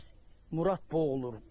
tez Murad boğulur.